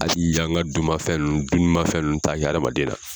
Hali an ka dunma fɛn ninnu t'a kɛ hadamaden na.